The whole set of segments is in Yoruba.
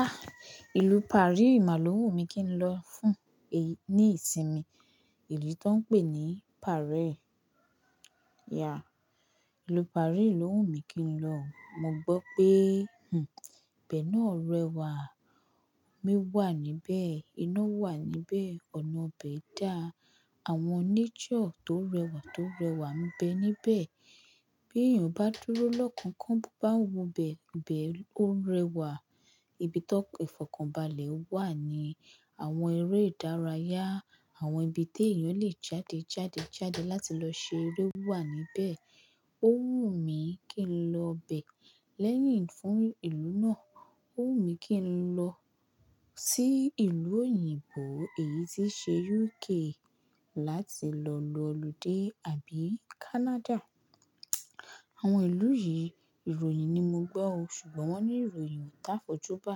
Ah! Ìlú Paris máa ló wùmí kín lọ fún, ní ìsinmi. Ìlú t'óń pè ní Paris. Yeah. Ìlú Paris ló wùmí mi kín lọ o. Mo gbọ́ pé, hmm, ibẹ̀ náà rẹwà. Omi wà níbẹ̀, iná wà níbẹ̀, ọ̀nà ibẹ̀ dàa. Àwọn nature tó rẹwà tó rẹwà ńbẹ níbẹ̀. Bí èyàn bá dúró lọ́kàánkán, bó bá n wo bẹ̀, ibẹ̀ ó rẹwà. Ibi ti ìfọ̀kànbalẹ̀ wà ni àwọn eré ìdárayá, àwọn ibi tí èyàn lè jáde, jáde, jáde láti lọ ṣe eré wà níbẹ̀. Ó wùmí kí n lọ bẹ̀ lẹ́yìn, fún ìlú náà. Ó wùmí kín lọ sí ìlú òyìnbó, èyí tí ṣe UK, láti lọ lo ọludé, àbí Canada. Àwọn ìlú yìí, ìròyìn ni mo gbọ́ o, ṣùgbọ́n wọ́n ní ìròyìn o t'áfọ̀jú bá.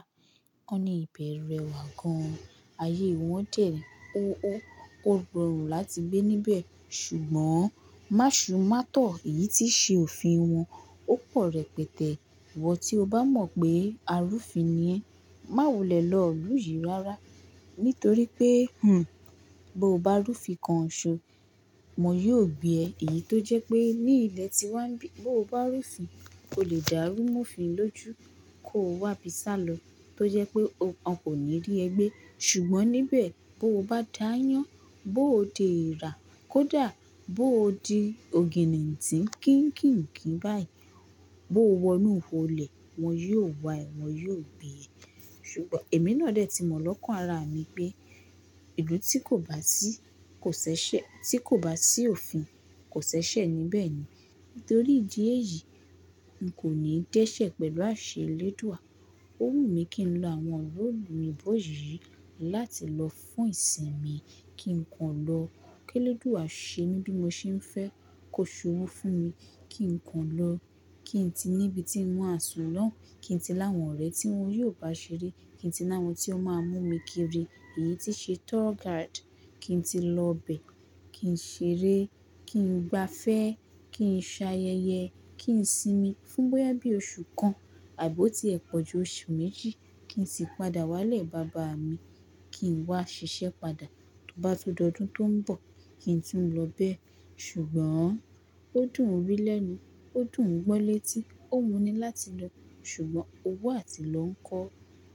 Wọ́n ní ìbẹ̀ rẹwà gan-an. Ayé wọ́n dẹ̀, ó ó, ó rọrùn láti gbé níbẹ̀. Ṣùgbọ́n máṣu, mátọ̀ èyí tí ṣe òfin wọn ó pọ̀ rẹpẹtẹ. Ìwọ tí o bá mọ̀ pé arúfin ni ẹ, má wulè lọ ilú yìí rárá. Nítorí pé, hmm, bó o bá rúfin kan ṣo, wọ́n yóò gbé ẹ. Èyí tó jẹ́ pé ní ilẹ̀ tí wàá ń bí, bó o bá rúfin ò lè dàrú m'ófin lójú kó wá bí sálọ. Tó jẹ́ pé wọn kò ní rí ẹ gbé. Ṣùgbọ́n níbẹ̀, bó o bá d'áyán, bó o d'èrà, kó dà, bó o di ògìnìntí, kínkìnkí báyìí, bó o wọnú, ihò'lè, wọn yóò wá ẹ, wọn yóò gbé ẹ. Ṣùgbọ́n èmi náà dè tí mọ̀ lọ́kàn ara mi pé ìlú tí kò bá sí, kò ṣ'éṣè, tí kò bá sí òfin kò ṣ'éṣẹ̀ níbẹ̀ ni. Nítorí ìdí èyí, n kò ní d'ẹ́ṣẹ̀ pẹ̀lú àṣẹ Elẹ́dùà. Ó wùmí kín lo àwọn ìlú òyìnbó yìí láti lọ fún ìsinmi. Kí n kan lọ, kí Elẹ́dùà ṣe mí bí mo ṣe ń fẹ́, kó ṣowó fún mi, kí n kan lọ. Kí n ti n'íbi tí ń máa sùn lóùn, kí n ti l'áwọn ọ̀rẹ́ tí wọn yóò bá ṣeré, kí n ti l'áwọn tí ó máa mú mi kiri. Èyí tí ṣe tour guide. Kí n ti lọ bẹ̀, kí n ṣeré, kí n gba'fẹ́, kí n ṣayẹyẹ, kí n sinmi. Fún bóyá bí oṣù kan àb'ó tí ẹ̀ pọ̀ ju oṣù méjì, kí n sì padà wálè baba mi. Kí n wá ṣiṣẹ́ padà. Tó bá tun d'ọdún tó ń bọ̀, kí n tún lọ béè. Ṣùgbọ́n ó dùn ún wí lẹ́nu, ó dùn ún gbọ́ létí, ó wu ni láti lọ. Ṣùgbọ́n owó àti lọ́ ńkọ,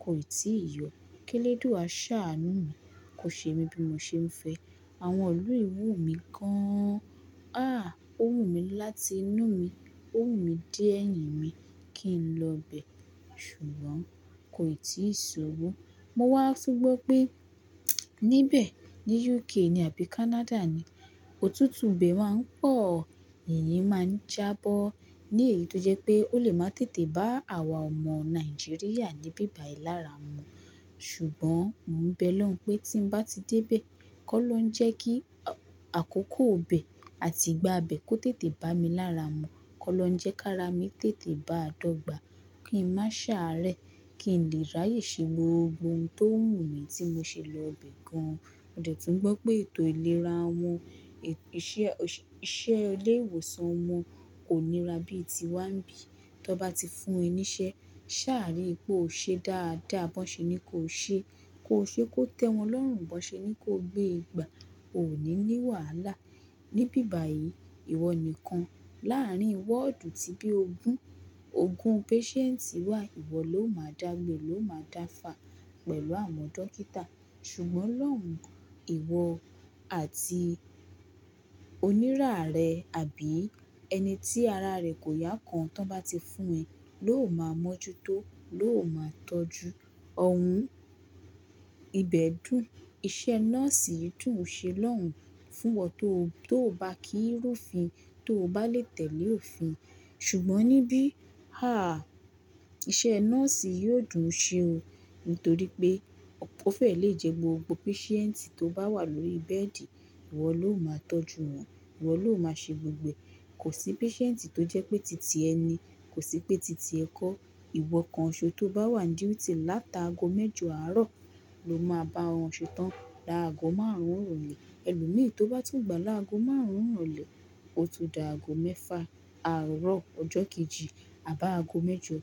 kò ì tíì yọ. Kí Elẹ́dùà ṣàánú mi, kó ṣe mí bí mo ṣe ń fẹ́. Àwọn ìlú yìí wùmí gán-an. Ah! Ó wù mí láti inú mi. Ó wù mí dé èmí kí n lọ bẹ̀. Ṣùgbọ́n kò ì tíì ṣòwò. Mo wá tún gbọ́ pé níbẹ̀, ní UK ni àbí Canada ni, òtútù be máa ń pọ̀. Yìyín máa ń jábọ́ ní èyí tó jẹ́ pé ó lè máa tètè bá àwa ọmọ Nàìjíríà ní bíbà ìlára mu. Ṣùgbọ́n mò ń bẹ'lọ́hun pé tí ń bá ti dé bẹ̀, kó'lọhun jẹ́ kí àkókò bè àti ìgbà bè kó tètè bá mi lára mu. Kó'lóun ń jẹ́ k'ara mi tètè báa dọ́gba. Kí ń má ṣàárẹ̀. Kí ń lè ráyè ṣe gbogbo ohun tó wù mí tí mo ṣe lọ bẹ̀ gan-an. Mo dẹ̀ tún gbọ́ pé ètò ìlera wọn, iṣẹ́ ilé ìwòsàn wọn kò nira bí ì tí wàá ń bí. T'on bá ti fún ẹ níṣẹ́, sáà rí i pé ó ṣe dáadáa, b'on ṣe ní kó ṣe, kó ṣe kó tẹ́ wọn lọ́rùn, bó ṣe ní kó gbé Ìgbà, o ò ní ní wàhálà. Ní'bíbàí, ìwọ nìkan láàárín wọ́ọ̀dù tí bí ogún, ogún patient wà, ìwọ ló máa dàgbé, ló máa dáfà pẹ̀lú àwọn dókítà. Ṣùgbọ́n lọ́hun, ìwọ àti onírà rẹ àbí ẹni tí ara rẹ̀ kò yá kan tan bá ti fún ẹ ló máa mọ́jútó, ló máa tọ́jú. Ọ̀hún, ibẹ̀ dùn. Iṣẹ́ nọ́ọ̀sì yìí dùn ṣe lọ́hun fún'wọ tóò bá kí n rúfin, tó bá lè tẹ̀lé òfin. Ṣùgbọ́n níbí, ha! Iṣẹ́ nọ́ọ̀sì yóò dùn ṣe o nítorí pé ó fẹ́ lè jẹ gbogbo patient tó bá wà lórí bẹ́ẹ̀dì, ìwọ ló máa tọ́jú wọn, ìwọ ló máa ṣe gbogbo ẹ̀. Kò sí patient tó jẹ́ pé tìtìẹ ni, kò sí pé tìtìẹ kọ́. Ìwọ kan ọ̀ṣọ́ tó bá wà ní duty láti ago mẹ́jọ àárọ̀ ló máa bá wọn ṣetán dá ago márùn-ún ìròlé Ẹlòmí tó bá tún gbà láago márùn-ún ìròlé ó tun di ago mẹ́fà àárọ̀ ọjọ́ kejì àb'áago mẹ́jọ.